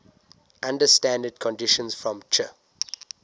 under standard conditions from ch